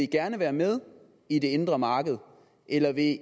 gerne være med i det indre marked eller vil